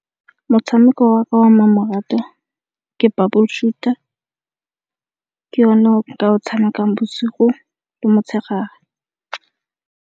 Motshameko wa ka wa mmamoratwa ke Bubble Shooter, ke o ne o ka o tshamekang bosigo le motshegare.